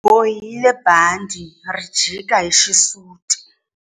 U bohile bandhi ri jika hi xisuti.